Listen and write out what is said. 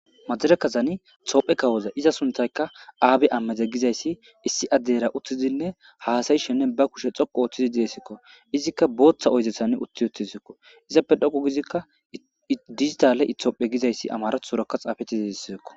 majare kazani toophe kawoza iza suntaykka aabe ammede gizayssi issi addeyra uttizinne haasayishenne ba kushe xoqu ooththidi deesikko izikka booththa oyzethan utti uttisikko izappe dhoqu gizikka diztale itoophe gizayssi amaratu suraka xaafeti zidisseekko